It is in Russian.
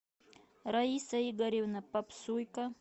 раиса игоревна попсуйка